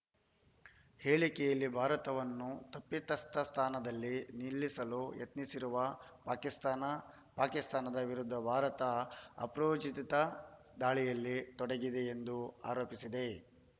ಹೇಳಿಕೆಯಲ್ಲಿ ಭಾರತವನ್ನು ತಪ್ಪಿತಸ್ಥ ಸ್ಥಾನದಲ್ಲಿ ನಿಲ್ಲಿಸಲು ಯತ್ನಿಸಿರುವ ಪಾಕಿಸ್ತಾನ ಪಾಕಿಸ್ತಾನದ ವಿರುದ್ಧ ಭಾರತ ಅಪ್ರಚೋದಿತ ದಾಳಿಯಲ್ಲಿ ತೊಡಗಿದೆ ಎಂದೂ ಆರೋಪಿಸಿದೆ